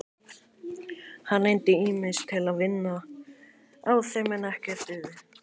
Hann reyndi ýmis ráð til að vinna á þeim en ekkert dugði.